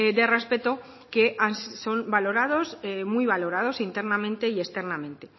de respeto que son valorados muy valorados internamente y externamente